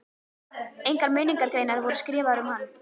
Engar minningargreinar voru skrifaðar um hann.